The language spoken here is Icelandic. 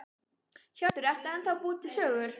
Hjörtur: Ertu ennþá að búa til sögur?